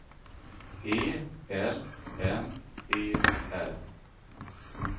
E L M E R